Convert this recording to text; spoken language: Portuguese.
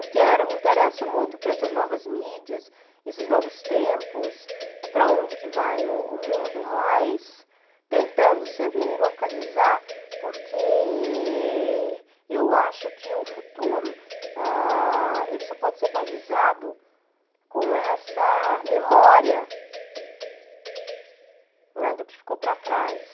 Eu quero eu me interesso muito por essas novas mídias, esses novos tempos, para onde vai o o mundo, mas tentando sempre me localizar porque eu acho que o futuro ah, ele só pode ser balizado com essa memória, né, do que ficou para trás.